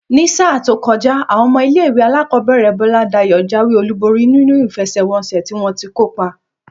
Ní sáà tó kojá, àwon omo ilé-ìwé alákòóbèrè Boladayo jáwé olúborí nínú ìfesèwonsè tí wọ́n ti kópa.